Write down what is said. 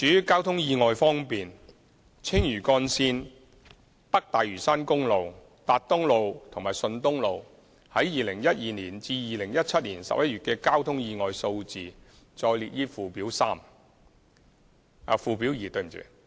交通意外方面，青嶼幹線、北大嶼山公路、達東路和順東路在2012年至2017年11月的交通意外數字載列於附表二。